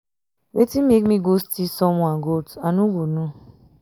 wetin make me go steal someone goat i no go no.